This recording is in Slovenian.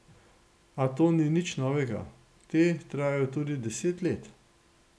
A to ni nič novega, te trajajo tudi deset let.